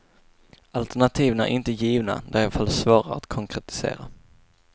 Alternativen är inte givna, de är i varje fall svårare att konkretisera.